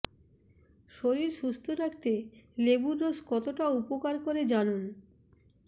শরীর সুস্থ রাখতে লেবুর রস কতটা উপকার করে জানুন